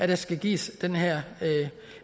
der skal gives den her